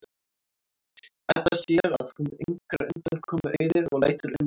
Edda sér að hún á engrar undankomu auðið og lætur undan.